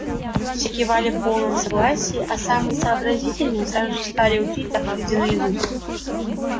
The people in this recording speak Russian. все кивали в полном согласии а самые сообразительные сразу же стали учить заповеди наизусть